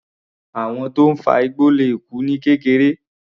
Àwọn tó ń fa igbó le kú ní kékeré.